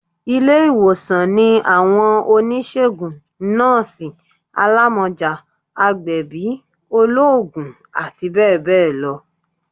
ilé-iwósàn ni awọn onisegún, nọọsi, àlámọjá, àgbẹbí, olóògùn ati bẹbẹ lọ